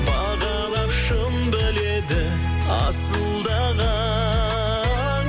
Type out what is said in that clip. бағалап шын біледі асылдаған